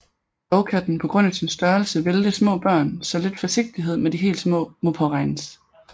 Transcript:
Dog kan den på grund af sin størrelse vælte små børn så lidt forsigtighed med de helt små må påregnes